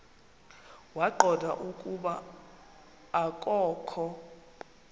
waqonda ukuba akokho